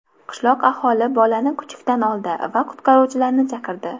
Qishloq ahli bolani kuchukdan oldi va qutqaruvchilarni chaqirdi.